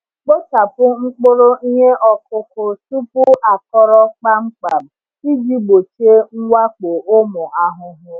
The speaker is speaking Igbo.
Kpochapụ mkpụrụ ihe ọkụkụ tupu akọrọ kpamkpam iji gbochie mwakpo ụmụ ahụhụ.